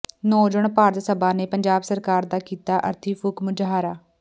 ਨੌਜਵਾਨ ਭਾਰਤ ਸਭਾ ਨੇ ਪੰਜਾਬ ਸਰਕਾਰ ਦਾ ਕੀਤਾ ਅਰਥੀ ਫ਼ੂਕ ਮੁਜ਼ਾਹਰਾ